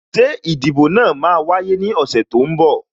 Ṣé ìdìbò náà máa wáyé ní ọ̀sẹ̀ tó ń bọ̀?